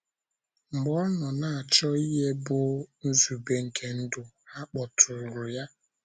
Mgbe ọ nọ na - achọ ihe bụ́ nzube nke ndụ, ha kpọtụụrụ ya.